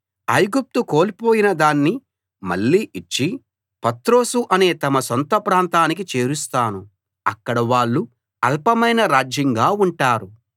ఐగుప్తు కోల్పోయిన దాన్ని మళ్ళీ ఇచ్చి పత్రోసు అనే తమ సొంత ప్రాంతానికి చేరుస్తాను అక్కడ వాళ్ళు అల్పమైన రాజ్యంగా ఉంటారు